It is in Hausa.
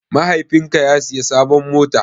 Mahaifin ka ya siya sabon mota?